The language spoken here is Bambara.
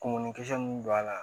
Kunkɔninkisɛ mun don a la